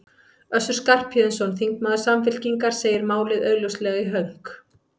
Össur Skarphéðinsson, þingmaður Samfylkingar, segir málið augljóslega í hönk.